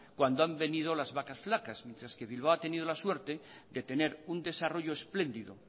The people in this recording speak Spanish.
cuando han venido las vacas flacas mientras que bilbao ha tenido la suerte de tener un desarrollo esplendido